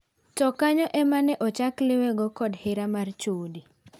To kanyo ema ne ochak liwego kod hera mar chode.